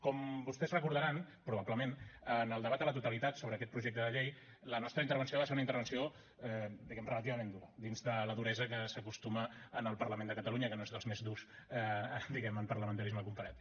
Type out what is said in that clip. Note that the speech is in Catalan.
com vostès deuen recordar probablement en el debat de la totalitat sobre aquest projecte de llei la nostra intervenció va ser una intervenció diguem ne relativament dura dins de la duresa que s’acostuma en el parlament de catalunya que no és dels més durs diguem ne en parlamentarisme comparat